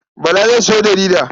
Bala zai sayo jarida.